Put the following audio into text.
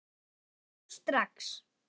Þar er mikið í húfi.